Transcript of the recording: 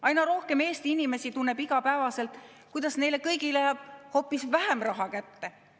Aina rohkem Eesti inimesi tunneb iga päev, kuidas neile kõigile jääb hoopis vähem raha kätte.